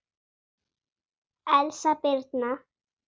Elsa Birna.